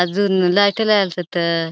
अजुन लाइट ला --